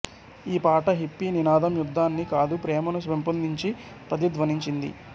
ఈ పాట హిప్పీ నినాదం యుద్ధాన్ని కాదు ప్రేమను పెంపొదించు ప్రతిధ్వనించింది